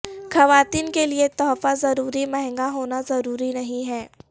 خواتین کے لئے تحفہ ضروری مہنگا ہونا ضروری نہیں ہے